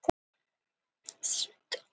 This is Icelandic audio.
Lúlli og leiðarhnoðað